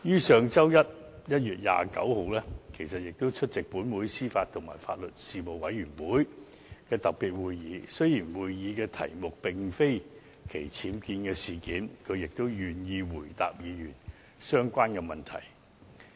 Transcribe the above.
上周一，她亦出席本會司法及法律事務委員會的特別會議。雖然該次會議的議程並非討論僭建事件，但她也願意回答議員相關的問題。